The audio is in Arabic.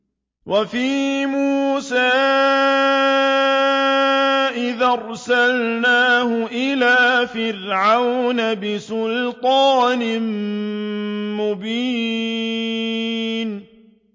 وَفِي مُوسَىٰ إِذْ أَرْسَلْنَاهُ إِلَىٰ فِرْعَوْنَ بِسُلْطَانٍ مُّبِينٍ